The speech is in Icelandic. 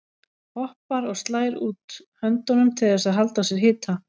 Hoppar og slær út höndunum til þess að halda á sér hita.